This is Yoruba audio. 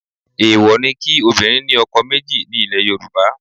Èèwọ̀ ni kí obìnrin ní ọkọ méjì ní ilẹ̀ Yorùbá